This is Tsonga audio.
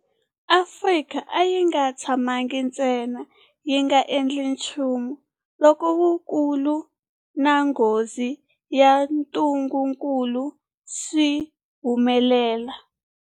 Afrika a yi nga tshamangi ntsena yi nga endli nchumu loko vukulu na nghozi ya ntungukulu swi humelela.